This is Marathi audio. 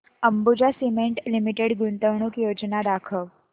अंबुजा सीमेंट लिमिटेड गुंतवणूक योजना दाखव